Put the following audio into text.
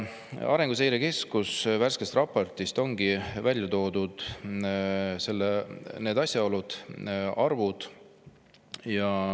Arenguseire Keskuse värskes raportis ongi välja toodud need asjaolud, need arvud.